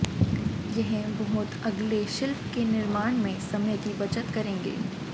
यह बहुत अगले शिल्प के निर्माण में समय की बचत करेंगे